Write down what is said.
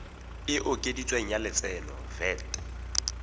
e okeditsweng ya lotseno vat